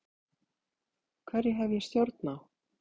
Hverju hef ég stjórn á?